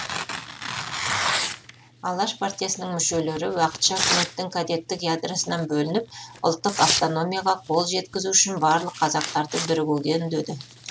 алаш партиясының мүшелері уақытша үкіметтің кадеттік ядросынан бөлініп ұлттық автономияға қол жеткізу үшін барлық қазақтарды бірігуге үндеді